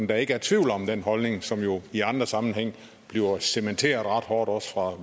der ikke er tvivl om den holdning som jo i andre sammenhænge bliver cementeret ret hårdt også fra